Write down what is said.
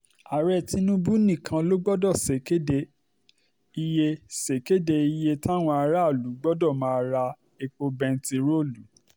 ààrẹ tinubu nìkan ló gbọ́dọ̀ ṣèkéde iye ṣèkéde iye táwọn aráàlú gbọ́dọ̀ máa ra epo bẹntiróòlù